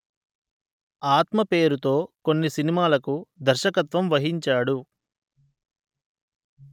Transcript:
ఆత్మ పేరుతో కొన్ని సినిమాలకు దర్శకత్వం వహించాడు